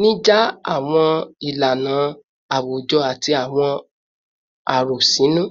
nija awọn ilana awujọ ati awọn arosinu